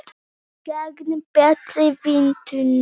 Sigrún Margrét og Gísli Geir.